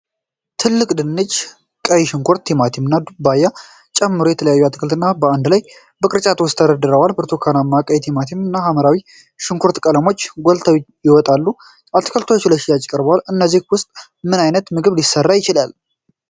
ትልቅ ድንች፣ ቀይ ሽንኩርት፣ ቲማቲም እና ዱባን ጨምሮ የተለያዩ አትክልቶች በአንድ ላይ በቅርጫቶች ውስጥ ተደርድረዋል። የብርቱካናማ ቀይ ቲማቲሞች እና የሐምራዊ ሽንኩርት ቀለሞች ጎልተው ይወጣሉ። አትክልቶቹ ለሽያጭ ቀርበዋል። ከእነዚህ ውስጥ ምን ዓይነት ምግብ ሊሰራ ይችላል?